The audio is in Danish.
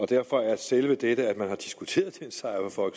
derfor er selve dette at man har diskuteret det en sejr for